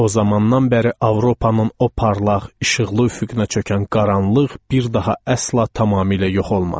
O zamandan bəri Avropanın o parlaq, işıqlı üfüqünə çökən qaranlıq bir daha əsla tamamilə yox olmadı.